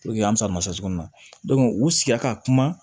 an bɛ salima cogo min na u sigira ka kuma